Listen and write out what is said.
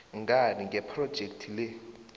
ngani ngephrojekhthi le